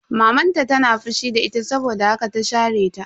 Maman ta tana fushi da ita saboda haka ta share ta.